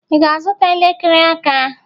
Ị ga-azụta elekere aka?